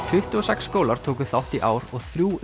tuttugu og sex skólar tóku þátt í ár og þrjú